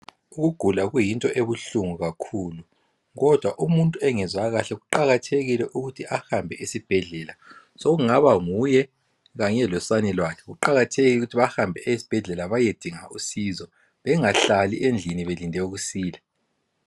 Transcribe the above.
Ukugula kuyinto ebuhlungu kakhulu kodwa umuntu engezwa kahle kuqakathekile ukuthi ahambe esibhedlela Sokungaba nguye kanye losane lwakhe. Kuqakathekile ukuthi bahambe esibhedlela bayedinga usizo bengahlali endlini belinde ukusila.